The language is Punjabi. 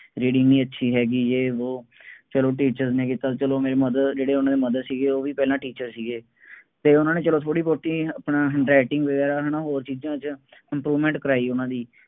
reading ਨਹੀਂ ਅੱਛੀ ਹੈਗੀ ਯੇਹ ਵੋਹ, ਚੱਲੋ ਉਹਦੀ ਕੀਤਾ, ਚੱਲੋ ਮੇਰੀ mother ਜਿਹੜੇ ਉਹਨਾ ਦੇ mother ਸੀਗੇ ਉਹ ਵੀ ਪਹਿਲਾਂ teacher ਸੀਗੇ ਅਤੇ ਉਹਨਾ ਨੇ ਪੂਰੀ ਆਪਣਾ handwriting ਵਗੈਰਾ ਹੈ ਨਾ ਹੋਰ ਚੀਜ਼ਾਂ ਚ improvement ਕਰਾਈ ਉਹਨਾ ਦੀ